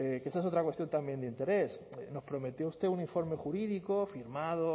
que esa es otra cuestión también de interés nos prometió usted un informe jurídico firmado